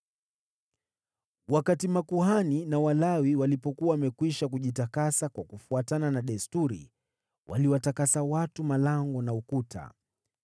Wakati makuhani na Walawi walipokuwa wamekwisha kujitakasa kwa kufuatana na desturi, waliwatakasa watu, malango na ukuta.